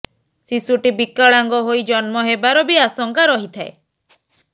ଶିଶୁଟି ବିକଳାଙ୍ଗ ହୋଇ ଜନ୍ମ ହେବାର ବି ଆଶଙ୍କା ରହିଥାଏ